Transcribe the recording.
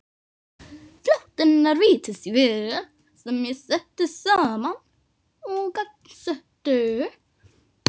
Flóttinn er vítisvél sem ég setti saman og gangsetti.